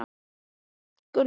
Nú verður allt gott, sagði ég.